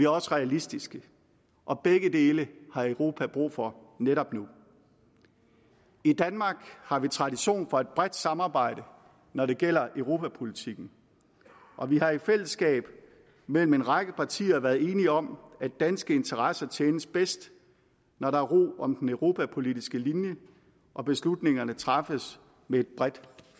også realistiske og begge dele har europa brug for netop nu i danmark har vi tradition for et bredt samarbejde når det gælder europapolitikken og vi har i fællesskab mellem en række partier været enige om at danske interesser tjenes bedst når der er ro om den europapolitiske linje og beslutningerne træffes med et bredt